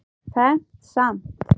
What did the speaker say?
Fermt samt.